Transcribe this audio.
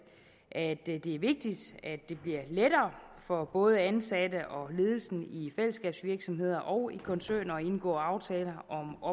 at det er vigtigt at det bliver lettere for både ansatte og ledelsen i fællesskabsvirksomheder og i koncerner at indgå aftaler om